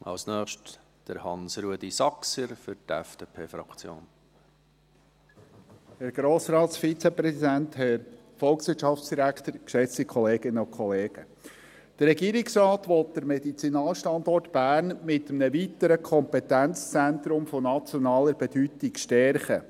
Der Regierungsrat will den Medizinalstandort Bern mit einem weiteren Kompetenzzentrum von nationaler Bedeutung stärken.